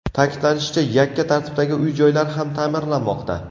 Ta’kidlanishicha, yakka tartibdagi uy-joylar ham ta’mirlanmoqda.